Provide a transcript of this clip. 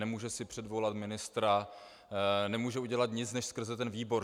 Nemůže si předvolat ministra, nemůže udělat nic než skrze ten výbor.